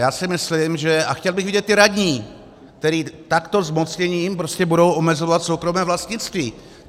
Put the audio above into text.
Já si myslím, že - a chtěl bych vidět ty radní, kteří takto zmocněním prostě budou omezovat soukromé vlastnictví.